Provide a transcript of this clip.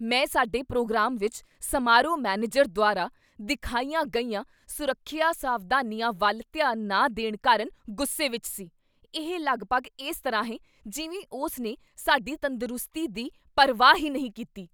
ਮੈਂ ਸਾਡੇ ਪ੍ਰੋਗਰਾਮ ਵਿੱਚ ਸਮਾਰੋਹ ਮੈਨੇਜਰ ਦੁਆਰਾ ਦਿਖਾਈਆਂ ਗਈਆਂ ਸੁਰੱਖਿਆ ਸਾਵਧਾਨੀਆਂ ਵੱਲ ਧਿਆਨ ਨਾ ਦੇਣ ਕਾਰਨ ਗੁੱਸੇ ਵਿੱਚ ਸੀ। ਇਹ ਲਗਭਗ ਇਸ ਤਰ੍ਹਾਂ ਹੈ ਜਿਵੇਂ ਉਸ ਨੇ ਸਾਡੀ ਤੰਦਰੁਸਤੀ ਦੀ ਪਰਵਾਹ ਹੀ ਨਹੀਂ ਕੀਤੀ!